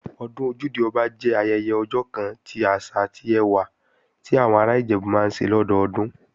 Ọdún Ojúde-Ọba jẹ́ ayẹyẹ ọjọ́ kan ti àṣà àti ẹwà ti àwọn ará Ìjẹ̀bú máa ń ṣe lọ́dọdún